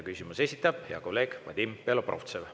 Küsimuse esitab hea kolleeg Vadim Belobrovtsev.